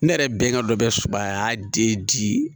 Ne yɛrɛ bɛnga dɔ bɛ subaaya de di